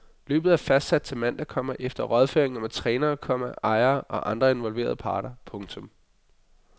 Løbet er fastsat til mandag, komma efter rådføringer med trænere, komma ejere og andre involverede parter. punktum